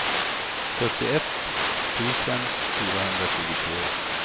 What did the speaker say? sjuttioett tusen fyrahundratjugotre